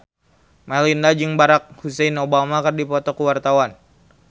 Melinda jeung Barack Hussein Obama keur dipoto ku wartawan